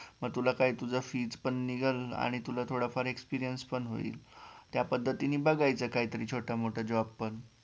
मग तुला काय तुझं fees पण निघेलं आणि तुला थोडाफार experience पण होईल त्यापद्धतीने बघायचं काहीतरी छोटामोठा Job पण